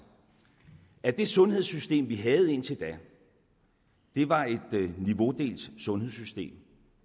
at det sundhedssystem vi havde indtil da var et niveaudelt sundhedssystem